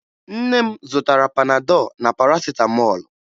Nne m zụtara Panadọ na Parasịtamọọlụ